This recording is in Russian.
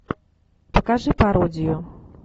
покажи пародию